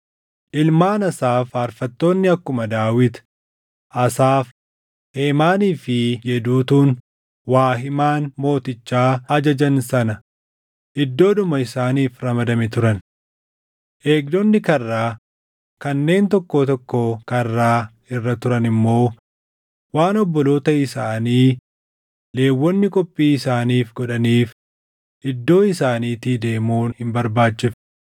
Ilmaan Asaaf faarfattoonni akkuma Daawit, Asaaf, Heemaanii fi Yeduutuun waa himaan mootichaa ajajan sana iddoodhuma isaaniif ramadame turan. Eegdonni karraa kanneen tokkoo tokkoo karraa irra turan immoo waan obboloota isaanii Lewwonni qophii isaaniif godhaniif iddoo isaaniitii deemuun hin barbaachifne.